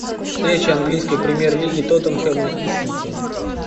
встреча английской премьер лиги тоттенхэма и сити